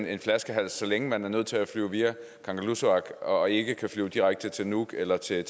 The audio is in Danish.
er en flaskehals så længe man er nødt til at flyve via kangerlussuaq og ikke kan flyve direkte til nuuk eller til